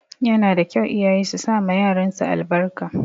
Yana da kyau iyaye su sama yaran su albarka.